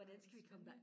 Ej spændende